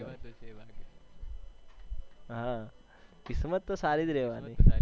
હા કિસ્મત તો સારી જ રેહવાની.